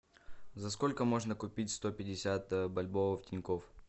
за сколько можно купить сто пятьдесят бальбоа в тинькофф